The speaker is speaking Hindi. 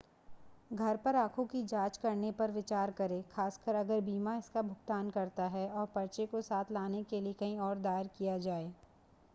घर पर आंखों की जांच करने पर विचार करें खासकर अगर बीमा इसका भुगतान करता है, और पर्चे को साथ लाने के लिए कहीं और दायर किया जाए।